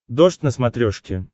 дождь на смотрешке